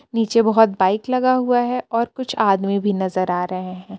नीचे बहोत बाइक लगा हुआ है और कुछ आदमी भी नजर आ रहे हैं।